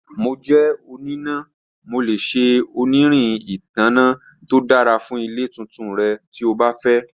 Mo jẹ onina, Mo le ṣe onirin itanna to dara fun ile tuntun rẹ ti o ba fẹ.